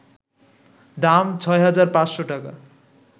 দাম: ৬,৫০০ টাকা